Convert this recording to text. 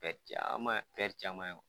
Caman caman ye